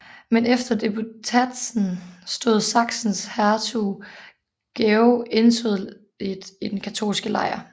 Men efter disputatsen stod Sachsens hertug Georg entydigt i den katolske lejr